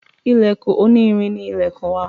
Ilèkùn oní irin ni ilèkùn wa